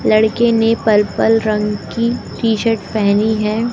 लड़के ने पर्पल रंग की टी शर्ट पहनी है।